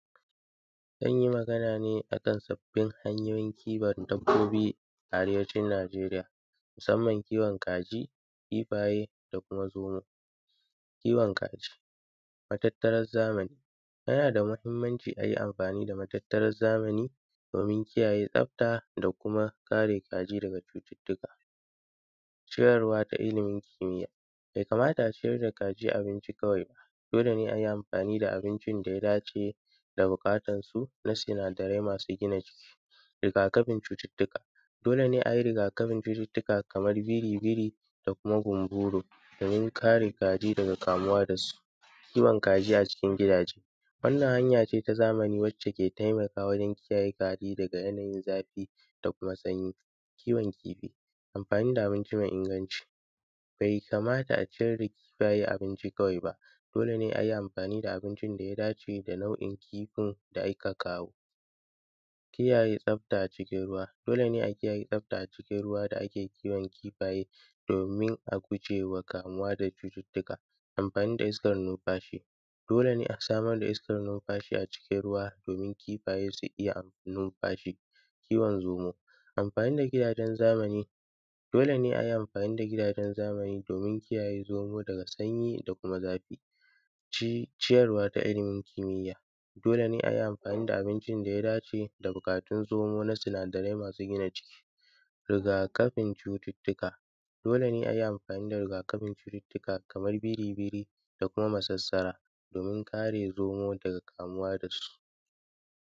zan yi Magana ne akan sabbin hanyoyin kiwon dabbobi a arewacin najeriya musamman kiwon kaji, kifaye da kuma zomo, kiwon kaji, matattara zamani yana da mahimmanci ayi amfani da matattarar zamani domin kiyaye tsafta da kuma kare kaji cututtuka ciyarwa da ilimin kimiya bai kamata a ciyar da kaji abinci kawai da dole ne ayi amfani da abincin da ya dace da buƙatarsu masu sinadarai masu gina jiki, riga kafin cututtuka dole ne ayi riga kafin cututtuka kamar biribiri da kuma gumburu domin kare kaji daga kamuwa da su kiwon kaji a cikin gidaje wannan hanya ce wacce ke taimakawa wajen kiyaye kaji daga yanayin zafi da kuma sanyi. Kiwon kifi amfani da abinci mai inganci, bai kamata a ciyar da kifaye abinci kawai ba dole ne ayi amfani da abincin da ya dace da nau`o`in kifin da aka kawo, kiyaye tsafta a cikin ruwa dole ne a kiyaye tsafta a cikin ruwa da ake kiwon kifaye domin a gujewa kamuwa daga cututtuka, amfani da iskar numfashi a cikin ruwa domin kifaye su iya numfashi. Kiwon zomo, amfani da gidajen zamani dole ne ayi amfani da gidajen zamani domin kiyaye zomo daga sanyi da kuma zafi, kiwon kaji a cikin gidaje wannan hanya ce wacce ke taimakawa wajen kiyaye kaji daga yanayin zafi da kuma sanyi. Kiwon kifi amfani da abinci mai inganci, bai kamata a ciyar da kifaye abinci kawai ba dole ne ayi amfani da abincin da ya dace da nau`o`in kifin da aka kawo, kiyaye tsafta a cikin ruwa dole ne a kiyaye tsafta a cikin ruwa da ake kiwon kifaye domin a gujewa kamuwa daga cututtuka, amfani da iskar numfashi a cikin ruwa domin kifaye su iya numfashi. Kiwon zomo, amfani da gidajen zamani dole ne ayi amfani da gidajen zamani domin kiyaye zomo daga sanyi da kuma zafi,